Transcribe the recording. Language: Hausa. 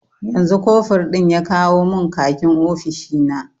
Yanzu kofur ɗin ya kawo mun khakin ofishina